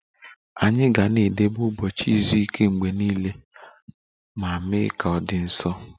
Anyị ga-edebe ụbọchị izu ike mgbe niile ma mee ka ọ dị nsọ